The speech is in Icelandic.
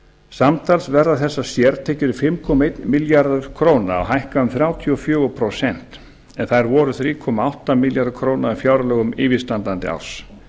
samtals verða þessar sértekjur um fimm komma einn milljarður króna og hækka um þrjátíu og fjögur prósent en þær voru þrjú komma átta milljarður króna í fjárlögum yfirstandandi árs